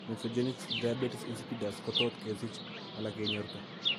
Nephrogenic diabetes insipidus kotot kesich ala kenyorta